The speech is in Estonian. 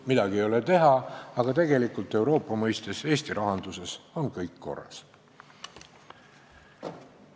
Midagi ei ole teha, aga tegelikult Euroopa mõistes on Eesti rahandusega kõik korras.